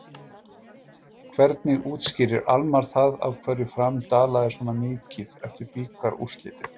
Hvernig útskýrir Almarr það af hverju Fram dalaði svona mikið eftir bikarúrslitin?